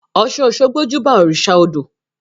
Ọ́sun-òṣogbo júbà òrìṣà odò